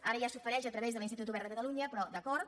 ara ja s’ofereix a través de l’institut obert de catalunya però d’acord